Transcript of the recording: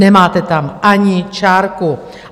Nemáte tam ani čárku.